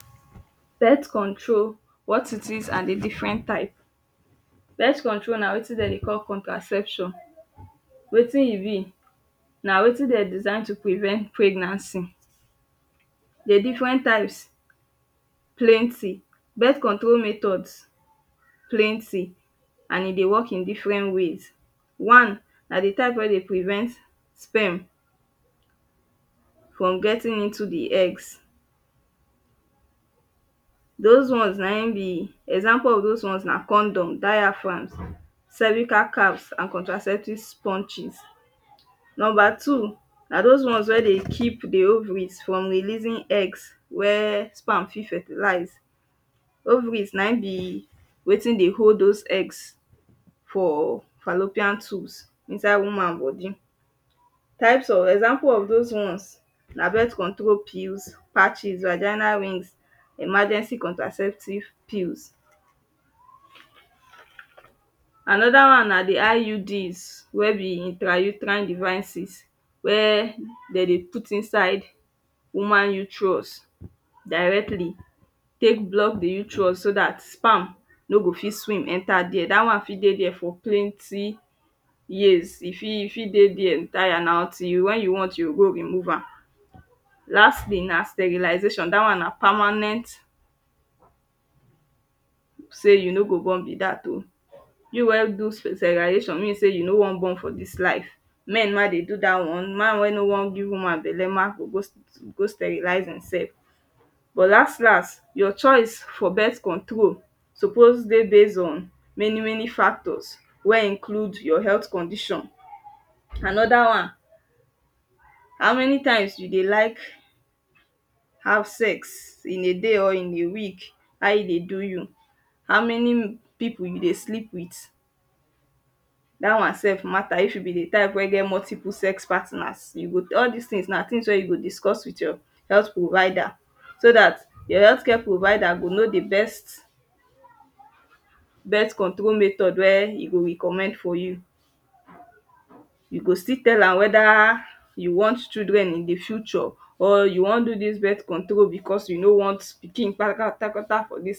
Borno state flood response dis borno state flood happen for september last year wey na because of di alam dam wen collaps dis flood mek over one million pipu dey homeless still kon cause di death of at least one hundred and fifty individuals dem for borno state respons na between di ngo's dem dat is di non-governmental organisation and government we kon bring intervention and respons to help those populations wen be sey dey affected by dis flood save di children na one of di ngo's we come dat time to kon help di situation where di ngo was led by duncan harvin we be di country director for save di children for nigeria here world health organisation ma play ogbonge role to respond for dat flood crisis dat year particularly in di aspect of health concerns for di affected population few responses wen de bin provide den na health services like mobile clinic for those wen dey idp idp camp four mobile clinic self with essential medicine and other health services we de provide for dem disease surveillance na di second respons wen de bin do to mek sure sey den prevent out break of water born diseases like cholera um and malerial um dat time dey still mek sure sey e no stop for there den put effort too to ensure sey there is relief and recovery process too for those wen be sey de don dey displaced after di entire flood wahala mek e be sey de go fit still go back to their normal lives go back to their normal houses mey den fit recover small tin again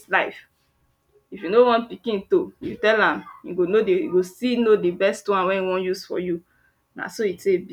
tek patch their live.